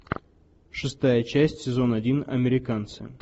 шестая часть сезон один американцы